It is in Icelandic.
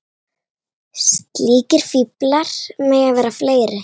Slíkir fíklar mega vera fleiri.